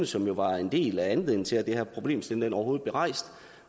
som jo var en del af anledningen til at den her problemstilling overhovedet blev rejst